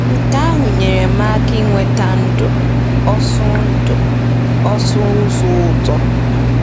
Nke ahụ nyere m ohere inweta ndụ ọsụ ndụ ọsụ ụzọ ụtọ.